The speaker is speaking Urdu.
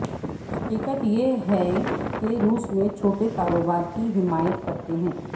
حقیقت یہ ہے کہ روس میں چھوٹے کاروبار کی حمایت کرتے ہیں